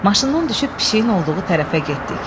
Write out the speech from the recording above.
Maşından düşüb pişiyin olduğu tərəfə getdik.